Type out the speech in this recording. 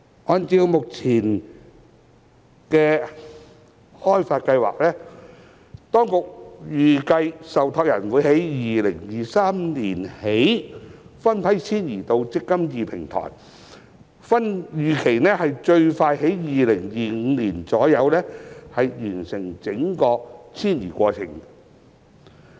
按照目前的開發計劃，當局預計受託人會由2023年起分批遷移至"積金易"平台，預期最快於2025年左右完成整個遷移過程。